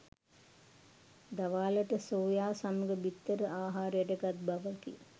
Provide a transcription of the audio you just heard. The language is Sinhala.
දවාලට සෝයා සමග බිත්තර ආහාරයට ගත් බවකි